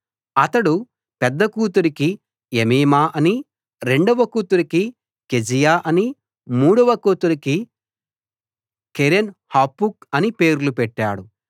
అతడు పెద్ద కూతురికి ఎమీమా అనీ రెండవ కూతురికి కెజీయా అనీ మూడవ కూతురికి కెరెన్ హపుక్ అనీ పేర్లు పెట్టాడు